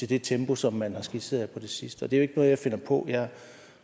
det tempo som man har skitseret på det sidste og det er jeg finder på jeg